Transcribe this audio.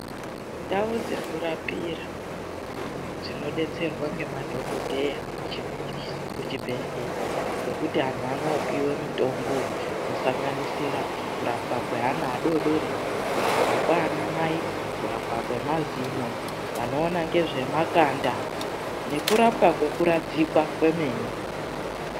Ndau dzekurapira dzinodetserwa ngemadhokodheya muzvibhedhlera dzekuti vantu vanopiwa mitombo inosanganisira kurapwa kwevana vadodori, kurapwa kwanamai, kurapwa kwemazino, vanoona nezvemakanda nekurapwa kwekuradzikwa kwemene.